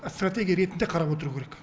стратегия ретінде қарап отыру керек